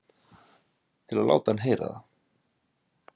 Til að láta hann heyra það?